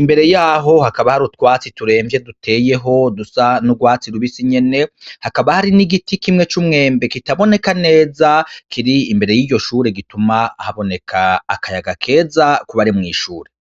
imbere yaho hakaba hari utwatsi turemvye duteyeho dusa n'urwatsi lubisi nyene hakaba hari n'igiti kimwe c'umwembe kitaboneka neza kiri imbere y'iryoshure gituma ahaboneka akayaga keza bare mw'ishuri.